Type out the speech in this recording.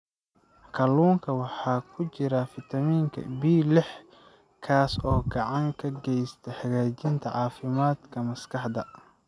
Kalluunka waxaa ku jira fitamiin B6 kaas oo gacan ka geysta hagaajinta caafimaadka maskaxda.